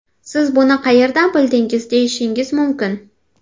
Siz buni qayerdan bildingiz deyishingiz mumkin.